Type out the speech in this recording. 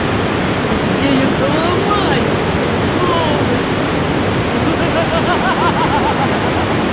так я её доломаю полностью ха-ха